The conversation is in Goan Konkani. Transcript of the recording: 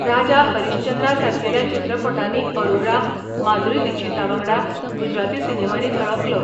राजा हरिश्चंद्रा सारकेल्या चित्रपटांनी अरोरा, माधुरी दिक्षीतावांगडा गुजराती सिनेमांनी झळकलो.